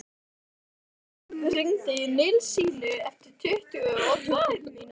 Jörgína, hringdu í Nilsínu eftir tuttugu og tvær mínútur.